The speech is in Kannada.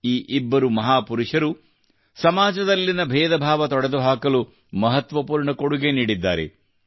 ಈ ಇಬ್ಬರು ಮಹಾಪುರುಷರು ಸಮಾಜದಲ್ಲಿನ ಭೇದಭಾವ ತೊಡೆದುಹಾಕಲು ಮಹತ್ವಪೂರ್ಣ ಕೊಡುಗೆ ನೀಡಿದ್ದಾರೆ